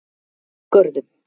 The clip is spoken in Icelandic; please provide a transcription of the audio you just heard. Görðum